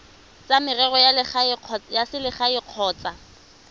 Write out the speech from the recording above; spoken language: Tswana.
tsa merero ya selegae kgotsa